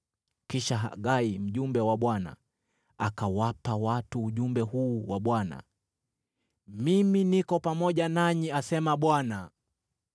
Kisha Hagai, mjumbe wa Bwana , akawapa watu ujumbe huu wa Bwana : “Mimi niko pamoja nanyi,” asema Bwana .